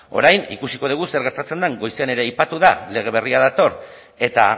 orain ikusiko dugu zer gertatzen den goizean ere aipatu da lege berria dator eta